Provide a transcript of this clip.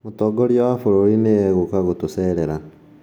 Mũtongoria wa bũrũri nĩ eguka kutucerera